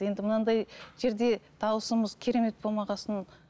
енді мынандай жерде дауысымыз керемет болмаған соң